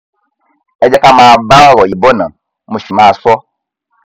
ẹ jẹ ká máa bá ọrọ yìí bọ ná mo sì máa sọ